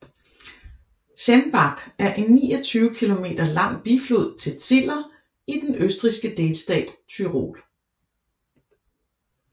Zemmbach er en 29 km lang biflod til Ziller i den østrigske delstat Tyrol